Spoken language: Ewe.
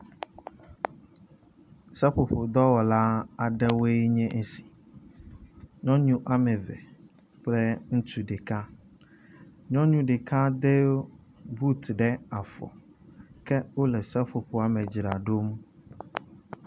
Seƒoƒo dɔwɔla aɖewoe nye esi. Nyɔnu wɔme eve kple ŋutsu ɖeka. Nyɔnu ɖeka do but ɖe afɔ ke wo le seƒoƒoa me dzram ɖo.